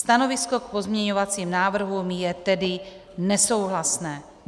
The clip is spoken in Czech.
Stanovisko k pozměňovacím návrhům je tedy nesouhlasné.